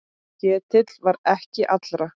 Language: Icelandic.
Ketill var ekki allra.